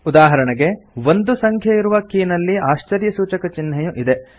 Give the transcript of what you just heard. ಉದಾಹರಣೆಗೆ 1 ಸಂಖ್ಯೆಯಿರುವ ಕೀನಲ್ಲಿ ಆಶ್ಚರ್ಯಸೂಚಕ ಚಿಹ್ನೆಯೂ ಇದೆ